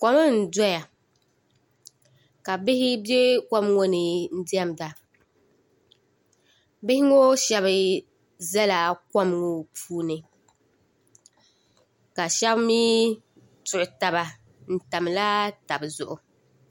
Kom n-doya ka bihi be kom ŋɔ ni n-diɛmda bihi ŋɔ shɛba zala kom ŋɔ puuni ka shɛba mi tuɣi taba n-tamla taba zuɣu